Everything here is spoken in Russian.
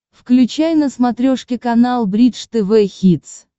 включай на смотрешке канал бридж тв хитс